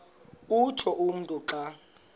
utsho umntu xa